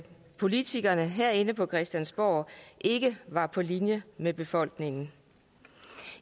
politikerne herinde på christiansborg ikke var på linje med befolkningen